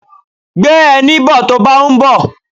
Gbé ẹní bo tó báa ń bọ̀.